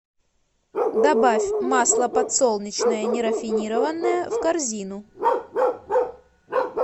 добавь масло подсолнечное нерафинированное в корзину